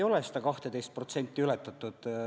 Ei ole seda 12% ületatud.